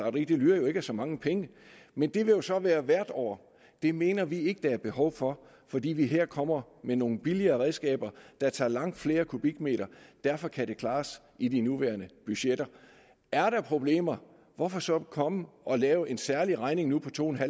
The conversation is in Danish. og det lyder jo ikke af så mange penge men det vil jo så være hvert år det mener vi ikke at der er behov for fordi vi her kommer med nogle billigere redskaber der tager langt flere kubikmeter derfor kan det klares i de nuværende budgetter er der problemer hvorfor så komme nu og lave en særlig regning på to